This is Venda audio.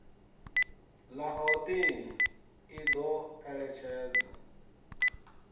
la gauteng i do eletshedza